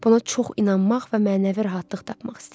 Buna çox inanmaq və mənəvi rahatlıq tapmaq istəyirəm.